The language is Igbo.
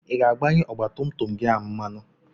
Ị ga-agbanye ọgbatumtum gị a mmanụ?